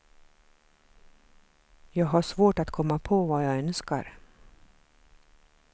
Jag har svårt att komma på vad jag önskar.